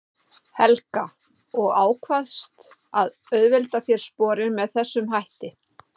Helga: Og ákvaðst að auðvelda þér sporin með þessum hætti?